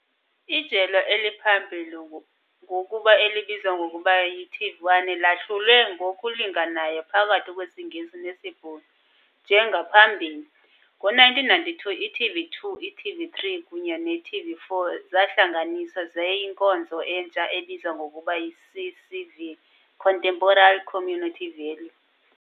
Ijelo eliphambili, ngokuba elibizwa ngokuba yiTV1, lahlulwe ngokulinganayo phakathi kwesiNgesi nesiBhulu, njengaphambili. Ngo-1992, i-TV2, i-TV3 kunye ne-TV4 zahlanganiswa zayinkonzo entsha ebizwa ngokuba yiCCV, Contemporary Community Value.